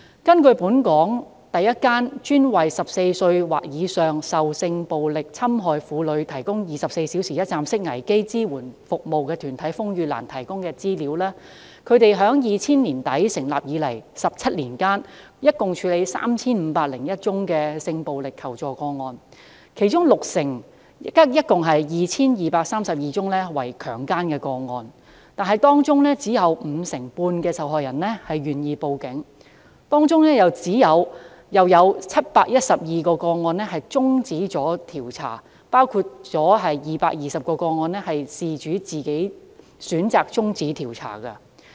根據本港首個專門為14歲或以上受性暴力侵害婦女提供24小時一站式危機支援服務的團體風雨蘭提供的資料，他們自2000年年底成立以來，在17年間共處理 3,501 宗性暴力求助個案，其中六成即合共 2,232 宗為強姦個案，但當中只有約五成半受害人願意向警方報案，而當中又有712宗個案終止調查，包括220宗個案是由事主自行選擇終止調查。